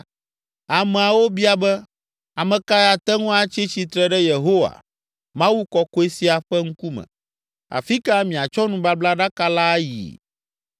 Ameawo bia be, “Ame kae ate ŋu atsi tsitre ɖe Yehowa, Mawu kɔkɔe sia, ƒe ŋkume? Afi ka miatsɔ nubablaɖaka la ayi?”